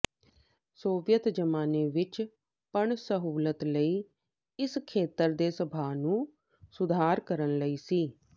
Soviet ਜ਼ਮਾਨੇ ਵਿਚ ਪਣ ਸਹੂਲਤ ਲਈ ਇਸ ਖੇਤਰ ਦੇ ਸੁਭਾਅ ਨੂੰ ਸੁਧਾਰ ਕਰਨ ਲਈ ਸੀ